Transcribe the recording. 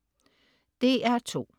DR2: